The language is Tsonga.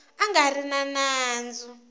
a nga ri na nandzu